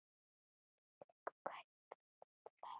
Þvílík kaup fyrir þetta verð!